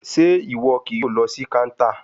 Ṣe iwọ kii yoo lọ si counter?